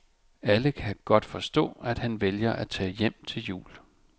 Alle kan godt forstå, at han vælger at tage hjem til jul.